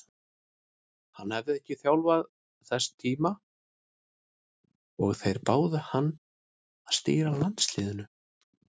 Hann hafði ekki þjálfað til þess tíma og þeir báðu hann að stýra landsliðinu.